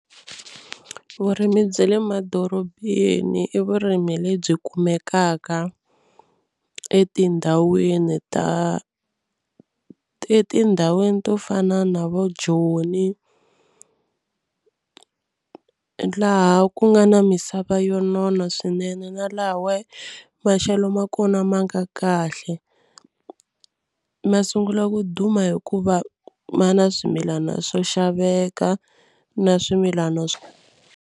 Vurimi bya le madorobeni i vurimi lebyi kumekaka etindhawini ta etindhawini to fana na vo Joni laha ku nga na misava yo nona swinene na lahawa maxelo ma kona ma nga kahle. Ma sungula ku duma hikuva ma na swimilana swo xaveka na swimilana.